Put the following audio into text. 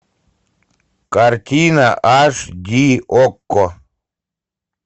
картина аш ди окко